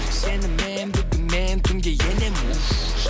сенімен бүгін мен түнге енемін уф